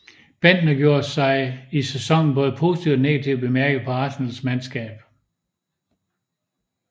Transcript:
Bendtner gjorde sig i sæsonen både positivt og negativt bemærket på Arsenals mandskab